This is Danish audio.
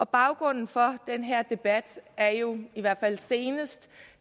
baggrunden for den her debat er jo i hvert fald senest